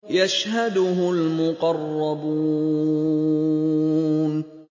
يَشْهَدُهُ الْمُقَرَّبُونَ